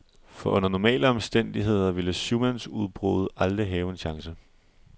For under normale omstændigheder ville syv mands udbruddet aldrig have en chance.